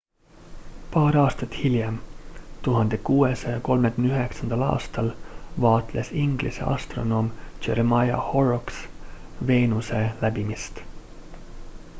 paar aastat hiljem 1639 aastal vaatles inglise astronoom jeremiah horrocks veenuse läbimist